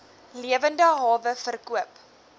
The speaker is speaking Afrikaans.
lewende hawe verkoop